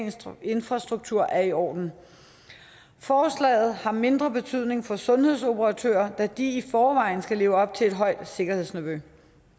infrastruktur er i orden forslaget har mindre betydning for sundhedsoperatører da de i forvejen skal leve op til et højt sikkerhedsniveau